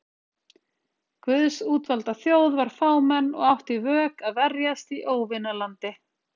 Guðs útvalda þjóð var fámenn og átti í vök að verjast í óvinalandi.